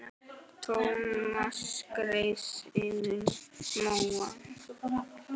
Thomas skreið yfir móann.